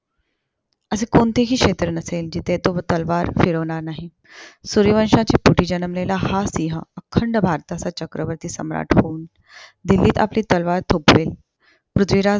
असे कोणतेही क्षेत्र नसेल, जिथे तो तलवार फिरवणार नाही. सूर्यवंशच्या पोटी जन्मलेला हा सिहं अखंड भारताचा चक्रवर्ती सम्राट होऊन. दिल्लीत आपली तलवार थोपवेल. पृथ्वीराज